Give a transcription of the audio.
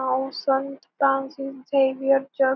नाव संत Francis Xavier church --